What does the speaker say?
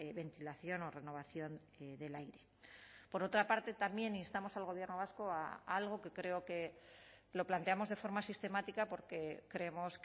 ventilación o renovación del aire por otra parte también instamos al gobierno vasco a algo que creo que lo planteamos de forma sistemática porque creemos